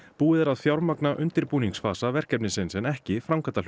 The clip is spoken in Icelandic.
búið er að fjármagna verkefnisins en ekki